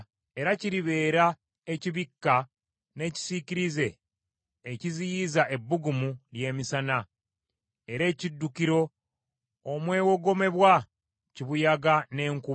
Era kiribeera ekibikka n’ekisiikirize ekiziyiza ebbugumu ly’emisana, era ekiddukiro omwewogomebwa kibuyaga n’enkuba.